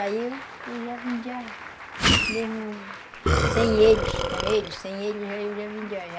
Aí eu já vendia mesmo sem eles, com eles, sem eles, aí eu já vendia.